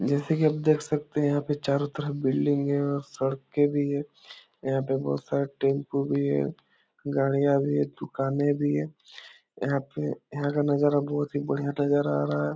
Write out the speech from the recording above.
जैसे कि आप देख सकतें हैं यहाँ पे चारों तरफ बिल्डिंग हैं और सड़कें भी हैं यहाँ पे बहुत सारे टेम्पू भी हैं गाड़ियां भी हैं दुकाने भी हैं यहाँ पे यहाँ का नज़ारा बहुत ही बढ़िया नज़र आ रहा है।